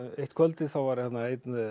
eitt kvöldið þá var einn